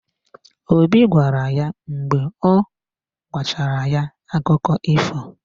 Obi gbawara ya mgbe ọ gwachara ya akụkọ ifo.